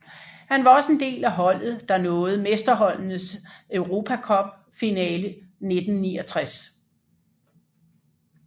Han var også en del af holdet der nåede Mesterholdenes Europa Cup finale 1969